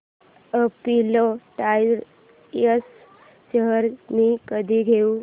Apollo Tyres shares मी कधी घेऊ